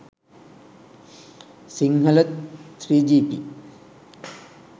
sinhala 3gp